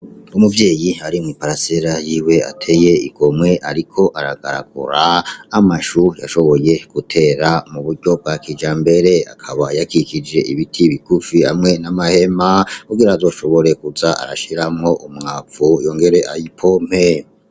Umuvyeyi ari mw'iparisera yiwe ateye igomwe, ariko aragaragura amashu yashoboye gutera mu buryo bwa kijambere, akaba yakikije ibiti bigufi hamwe n'amahema kugira azoshobore kuza arashiramwo umwavu yongere ayapompe.